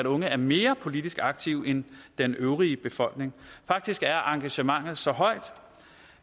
unge er mere politisk aktive end den øvrige befolkning faktisk er politiske engagement så højt